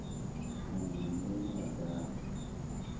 munwe na munwe wa davhi